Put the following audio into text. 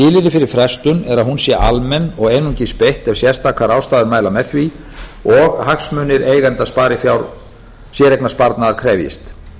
fyrir frestuninni er að hún sé almenn og einungis beitt ef sérstakar ástæður mæli með því og hagsmunir eigenda sparifjár séreignarsparnaðar krefjist